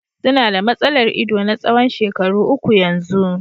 Su na da matsalar ido na tsawon shekaru uku yanzu.